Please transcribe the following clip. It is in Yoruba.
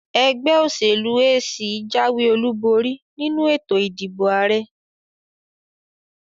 Ẹgbẹ́ òṣèlú AC jáwé olúborí nínu ètò ìdìbò àrẹ.